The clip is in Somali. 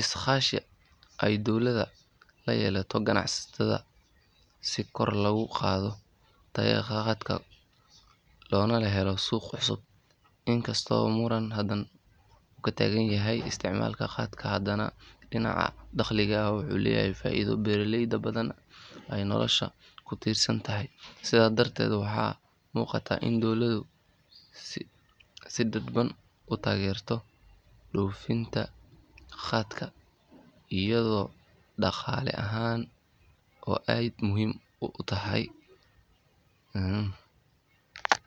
iskaashi ay dowladda la yeelato ganacsatada si kor loogu qaado tayada khaatka loona helo suuqyo cusub. Inkastoo muran badan uu ka taagan yahay isticmaalka khaatka, haddana dhinaca dhaqaalaha wuxuu leeyahay faa’iido beeraleyda badan ay noloshooda ku tiirsan tahay. Sidaas darteed waxaa muuqata in dowladdu si dadban u taageerto dhoofinta khaatka iyadoo dhaqaale ahaan muhiim u ah.